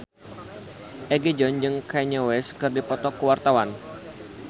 Egi John jeung Kanye West keur dipoto ku wartawan